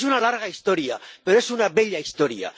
Es una larga historia, pero es una bella historia.